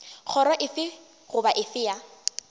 kgoro efe goba efe ya